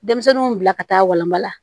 Denmisɛnninw bila ka taa walanba la